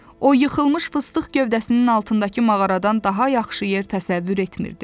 O yıxılmış fıstıq gövdəsinin altındakı mağaradan daha yaxşı yer təsəvvür etmirdi.